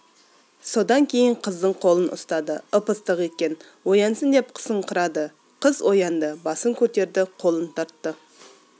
содан кейін қыздың қолын ұстады ып-ыстық екен оянсын деп қысыңқырады қыз оянды басын көтерді қолын тартты